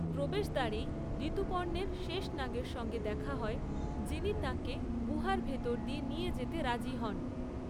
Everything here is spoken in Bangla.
প্রবেশদ্বারেই ঋতুপর্ণের শেষনাগের সঙ্গে দেখা হয়, যিনি তাঁকে গুহার ভিতর দিয়ে নিয়ে যেতে রাজি হন।